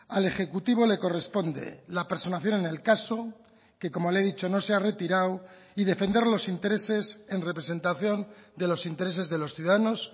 al ejecutivo le corresponde la personación en el caso que como le he dicho no se ha retirado y defender los intereses en representación de los intereses de los ciudadanos